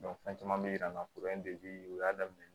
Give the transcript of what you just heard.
fɛn caman bɛ yir'an na u y'a daminɛ